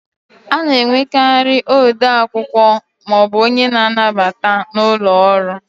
A na enwekarị ode akwụkwọ maọbụ onye nnabata n'ụlọ ọrụ